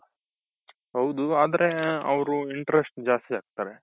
ಹೌದು ಆದ್ರೆ ಅವ್ರು interest ಜಾಸ್ತಿ ಹಾಕ್ತಾರೆ.